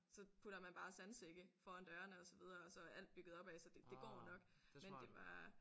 Så putter man bare sandsække foran dørene og så videre og så er alt bygget opad så det det går jo nok men det er bare